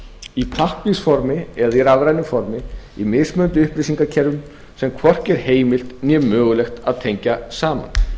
í pappírsformi eða í rafrænu formi í mismunandi upplýsingakerfum sem hvorki er heimilt né mögulegt að tengja saman